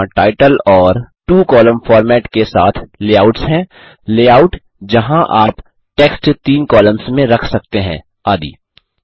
यहाँ टाइटल और two column format के साथ लेआउट्स हैं लेआउट जहाँ आप टेक्स्ट तीन कॉलम्स में रख सकते हैं आदि